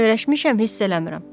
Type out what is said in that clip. Mən öyrəşmişəm, hiss eləmirəm.